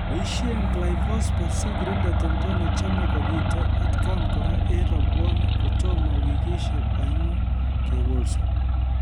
Boisie Glyphosphate sikirinde timdo nechame kobite atkan kora eng rabwonik kotomo wikishek oeng'u kekolso